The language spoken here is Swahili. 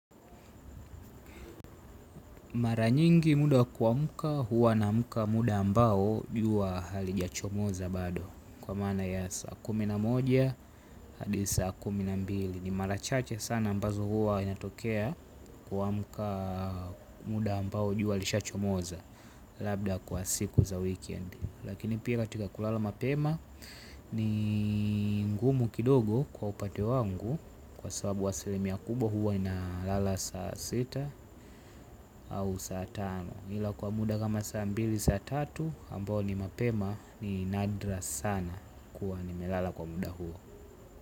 Mara nyingi muda kuamka huwa naamka muda ambao jua halijachomoza bado. Kwa maana ya saa kumi na moja hadi saa kumi na mbili. Ni mara chache sana ambazo huwa inatokea kuamka muda ambao jua lishaachomoza. Labda kwa siku za wikendi. Lakini pia katika kulala mapema ni ngumu kidogo kwa upande wangu kwa sababu asilimia kubwa huwa inalala saa sita au saa tano ila kwa muda kama saa mbili saa tatu ambo ni mapema ni nadra sana. Kuwa ni melala kwa muda huo.